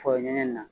Fɔ ɲɛna